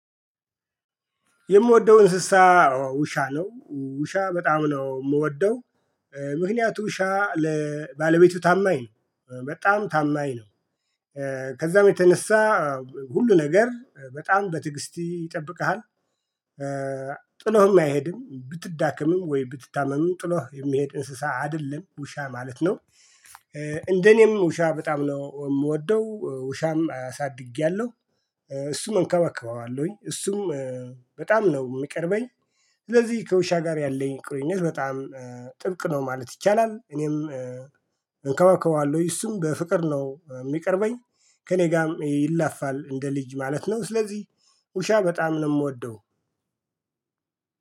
የምወደውን እንስሳ ውሻ ነው ውሻ በጣም ነው የምወደው። ምክንያቱም ውሻ ለባለቤቱ ታማኝ ነው በጣም ታማኝ ነው። ከዛም የተነሳ ሁሉ ነገር በጣም በትግስቲ ይጠብቅሃል። ጥሎህም አይሄድም ብትዳከምም ወይ ብትታመምም ጥሎ የሚሄድ እንስሳ አይደለም ውሻ ማለት ነው። እንደ እኔም ውሻ በጣም ነው የምወደው ውሻም አሳድጌያለሁ። እሱም እንከባከበዋለሁኝ እሱም በጣም ነው የሚቀርበኝ። ስለዚህ ከውሻ ጋር ያለኝ ቅርኝነት በጣም ጥብቅ ነው ማለት ይቻላል። እኔም እንከባከባለሁ እሱም በፍቅር ነው የሚቀርበኝ። ከእኔ ጋርም ይላፋል እንደ ልጅ ማለት ነው። ስለዚህ ውሻ በጣም ነው የምወደው።